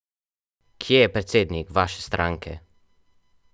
Kje je predsednik vaše stranke?